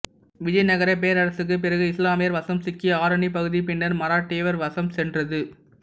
விஜயநகர பேரரசுக்கு பிறகு இஸ்லாமியர் வசம் சிக்கிய ஆரணி பகுதி பின்னர் மராட்டியர் வசம் சென்றது